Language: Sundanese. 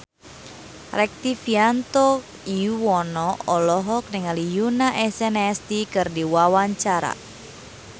Rektivianto Yoewono olohok ningali Yoona SNSD keur diwawancara